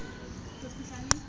le ho reseo a se